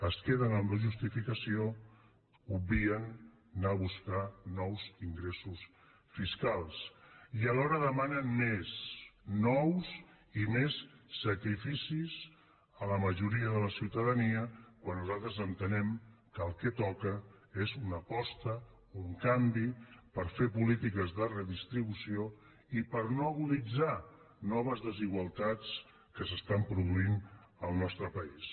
es queden amb la justificació obvien anar a buscar nous ingressos fiscals i alhora demanen nous i més sacrificis a la majoria de la ciutadania quan nosaltres entenem que el que toca és una aposta un canvi per fer polítiques de redistribució i per no aguditzar noves desigualtats que es produeixen al nostre país